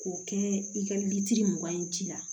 K'o kɛ i ka litiri mugan ye ji la